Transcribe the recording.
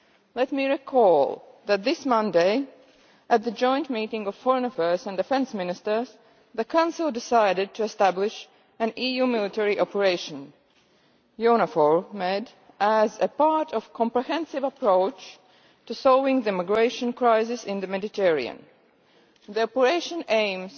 Let me recall that this Monday at the joint meeting of Foreign Affairs and Defence Ministers, the Council decided to establish an EU military operation EUNAVFOR Med as a part of a comprehensive approach to solving the migration crisis in the Mediterranean. The operation aims